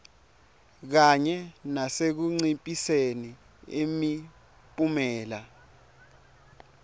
kanye nasekunciphiseni imiphumela